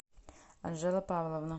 анжела павловна